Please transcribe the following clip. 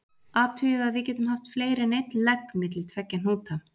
Athugið að við getum haft fleiri en einn legg milli tveggja hnúta.